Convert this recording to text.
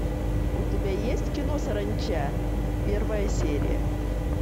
у тебя есть кино саранча первая серия